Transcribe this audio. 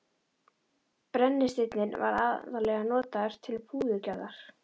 Brennisteinninn var aðallega notaður til púðurgerðar.